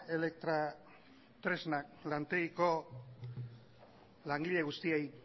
elektrotresnak lantegiko langile guztiei